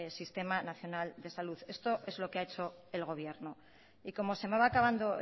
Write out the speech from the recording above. sistema nacional de salud esto es lo que ha hecho el gobierno y como se me va a acabando